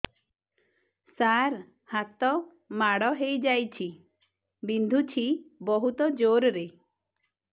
ସାର ହାତ ମାଡ଼ ହେଇଯାଇଛି ବିନ୍ଧୁଛି ବହୁତ ଜୋରରେ